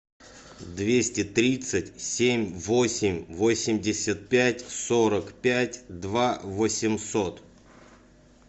двести тридцать семь восемь восемьдесят пять сорок пять два восемьсот